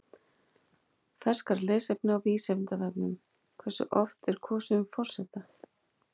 Frekara lesefni á Vísindavefnum: Hversu oft er kosið um forseta?